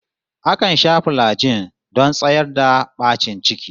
Akan sha filajin don tsayar da bacin ciki